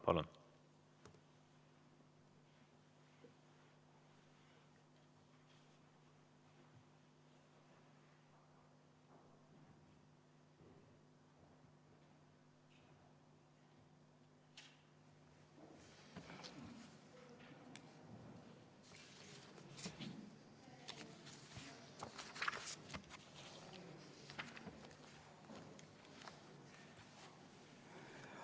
Palun!